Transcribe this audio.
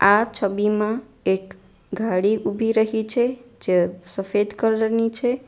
આ છબીમાં એક ગાડી ઉભી રહી છે જે સફેદ કલર ની છે.